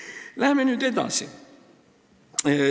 Aga läheme nüüd edasi.